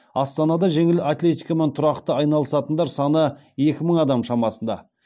астанада жеңіл атлетикамен тұрақты айналысатындар саны екі мың адам шамасында